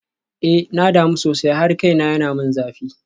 Eh na damu sosai har kaina yana min zafi.